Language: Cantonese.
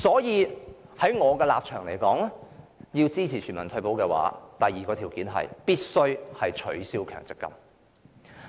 因此，我的立場是，要推行全民退休保障，第二項條件是必須取消強積金計劃。